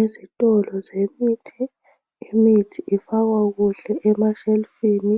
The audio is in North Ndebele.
Ezitolo zemithi imithi ifakwa kuhle emashelufini